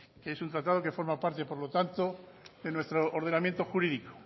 que es un tratado que forma parte por lo tanto de nuestro ordenamiento jurídico